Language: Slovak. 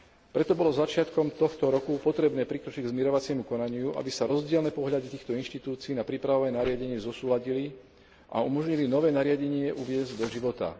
Preto bolo začiatkom tohto roku potrebné prikročiť k zmierovaciemu konaniu, aby sa rozdielne pohľady týchto inštitúcií na príprave nariadenia zosúladili a umožnili nové nariadenie uviesť do života.